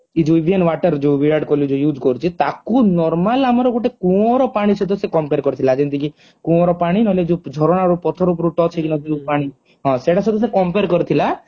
ଏଇ ଯୋଉ water ଯୋଉ ବିରାଟ କୋହଲୀ ଯାଉ use କରୁଛି ତାକୁ normal ଆମର ଗୋଟେ କୂଅ ର ପାଣି ସହିତ ସିଏ compare କରିଥିଲା ଯେମିତି କି କୂଅର ପାଣି ନହେଲେ ଯୋଉ ଝରଣାର ପଥର ଉପରୁ touch ହେଇକିନା ଯୋଉ ପାଣି ସେଇଟା ସହିତ ସିଏ compare କରିଥିଲା